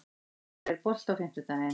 Geimar, er bolti á fimmtudaginn?